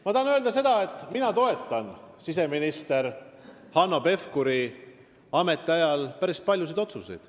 Ma tahan öelda seda, et mina toetan päris paljusid siseminister Hanno Pevkuri ametiajal tehtud otsuseid.